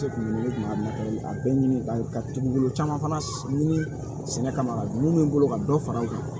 A bɛɛ ɲini ka ka tugun bolo caman fana ɲini sɛnɛ kama bɛ n bolo ka dɔ fara u kan